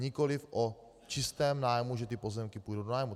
Nikoliv o čistém nájmu, že ty pozemky půjdou do nájmu.